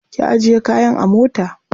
Ki ajiye kayan a mota.